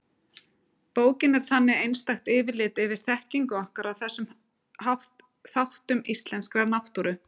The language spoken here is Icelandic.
Bókin er þannig einstakt yfirlit yfir þekkingu okkar á þessum þáttum íslenskrar náttúru.